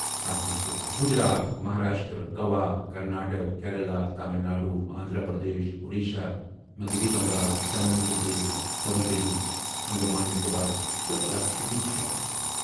اتھ منٛز چُھ گُجرات ، مہاراشٹر ، گوا ، کرناٹک ، کیرالہ ، تامل ناڈوٗ ، آندھرا پردیش ، اوڈیشہ ، مغربی بنگال ، دمن تہٕ دیو ، پدوٗچری ، انڈیمان نکوبار تہٕ لکشدویپ شٲمل